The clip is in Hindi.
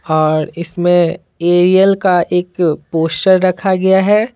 और इसमें एरियल का एक पोस्टर रखा गया है।